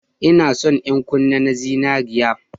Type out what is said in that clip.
Ina son yan kunne na zinariya